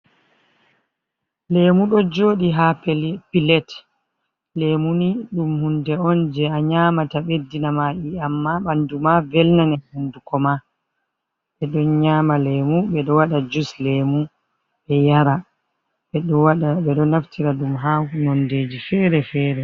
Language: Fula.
Lemu ɗo joɗi haa pilet. Lemu ni, ɗum hunde on je a nƴamata ɓeddina ma iyam haa bandu ma, velnane hunnduko ma. Ɓe ɗon nƴama lemu, ɓe ɗon waɗa jus lemu ɓe yara. Ɓe ɗo naftira ɗum haa noonde ji feere-feere.